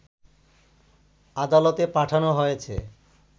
আদালতে পাঠানো হয়েছে